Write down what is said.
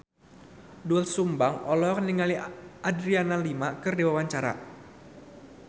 Doel Sumbang olohok ningali Adriana Lima keur diwawancara